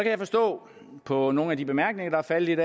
jeg forstå på nogle af de bemærkninger der er faldet